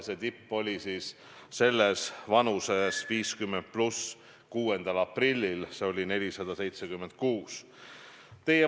See tipp vanusegrupis 50+ oli 6. aprillil 476.